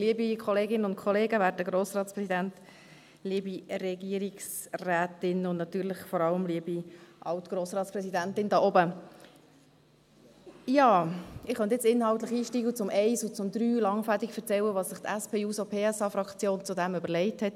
Ich könnte nun inhaltlich einsteigen und zu den Punkten 1 und 3 langfädig erzählen, was sich die SP-JUSO-PSA-Fraktion dazu überlegt hat.